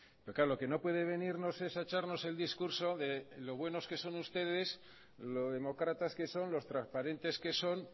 pero claro lo que no puede venirnos es a echarnos el discurso de lo buenos que son ustedes lo demócratas que son lo transparentes que son